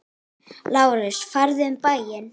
LÁRUS: Farðu um bæinn!